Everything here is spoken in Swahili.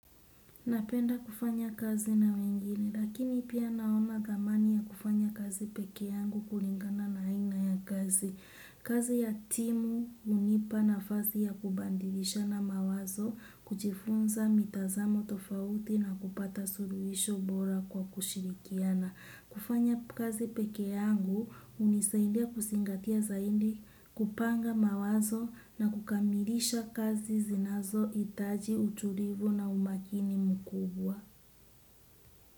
Napenda kufanya kazi na wengine, lakini pia naona dhamani ya kufanya kazi peke yangu kulingana na inga ya kazi. Kazi ya timu hunipa nafasi ya kubadilishana mawazo, kujifunza mitazamo tofauti na kupata suluhisho bora kwa kushirikiana. Kufanya kazi peke yangu hunisaidia kuzingatia zaidi kupanga mawazo na kukamilisha kazi zinazohitaji utulivu na umakini mkubwa.